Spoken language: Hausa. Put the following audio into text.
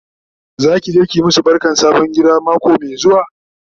Zaki je ki masu barkan sabon gida mako Mai zuwa?